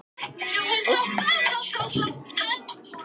Þeir lærðu að vinna járn og þróuðu enn fremur stíflugerð af ýmsu tagi.